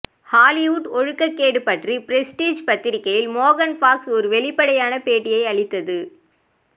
ஹாலிவுட்டில் ஒழுக்கக்கேடு பற்றி பிரஸ்டிஜ் பத்திரிகையில் மேகன் ஃபாக்ஸ் ஒரு வெளிப்படையான பேட்டியை அளித்தது